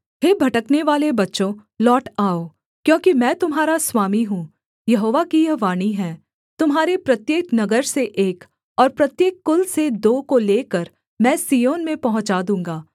हे भटकनेवाले बच्चों लौट आओ क्योंकि मैं तुम्हारा स्वामी हूँ यहोवा की यह वाणी है तुम्हारे प्रत्येक नगर से एक और प्रत्येक कुल से दो को लेकर मैं सिय्योन में पहुँचा दूँगा